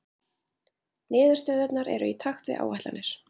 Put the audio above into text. Niðurstöðurnar eru í takt við áætlanir